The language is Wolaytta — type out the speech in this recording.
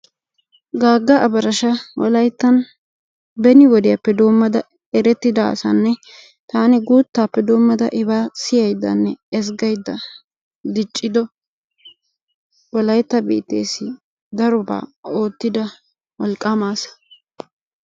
Gaagga abarasha wolayttaan beni wodeppedoommada erettida asanne taani guuttaappe doommada ibaa siyaydanne ezggayda diiccido wolaytta biitteesi darobaa oottida wolqaama asa.